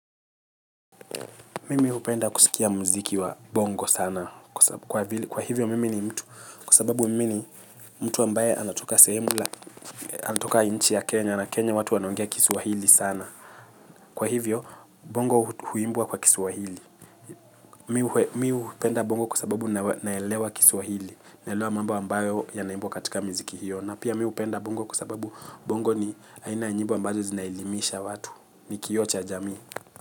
Mimi hupenda kusikia mziki wa bongo sana. Kwa hivyo mimi ni mtu. Kwa sababu mimi ni mtu ambaye anatoka nchi ya Kenya. Na Kenya watu wanaongea kiswahili sana. Kwa hivyo bongo huimbwa kwa kiswahili. Mimi hupenda bongo kwasababu naelewa kiswahili. Naelewa mambo ambayo ya naimbwa katika miziki hiyo. Na pia mi hupenda bongo kwsababu bongo ni haina nyimbo ambazo zinaelimisha watu. Ni kioo cha jamii.